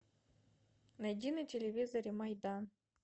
найди на телевизоре майдан